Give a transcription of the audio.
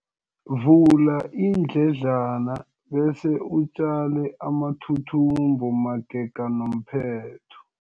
Vula iindledlana bese utjale amathuthumbo magega nomphetho.